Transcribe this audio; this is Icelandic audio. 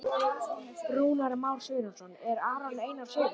Rúnar Már Sigurjónsson: Er Aron Einar segull?